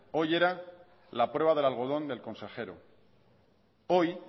hoy era la prueba del algodón del consejero hoy